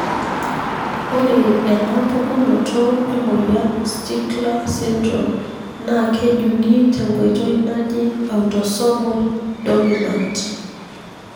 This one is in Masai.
ore ena pukunoto emoyian Stickler syndrome na kejungi tenkoitoi naji autosomal dominant.